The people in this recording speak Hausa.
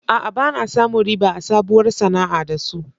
A'a, ba na samun riba a sabuwar sana'a da su.